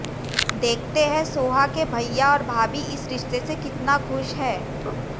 देखते हैं सोहा के भइया और भाभी इस रिश्ते से कितना खुश हैं